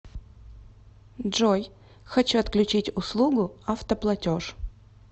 джой хочу отключить услугу автоплатеж